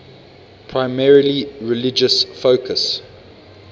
primarily religious focus